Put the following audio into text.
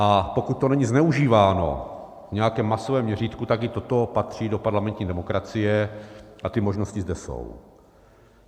A pokud to není zneužíváno v nějakém masovém měřítku, tak i toto patří do parlamentní demokracie a ty možnosti zde jsou.